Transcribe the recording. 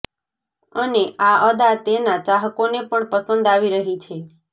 અને આ અદા તેના ચાહકોને પણ પસંદ આવી રહી છે